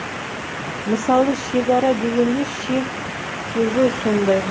мысалы шегара дегенде шег сөзі сондай